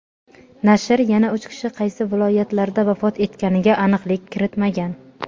Nashr yana uch kishi qaysi viloyatlarda vafot etganiga aniqlik kiritmagan.